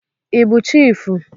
Ị bụ chiịfụ?